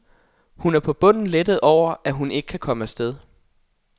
Hun er på bunden lettet over at hun ikke kan komme af sted.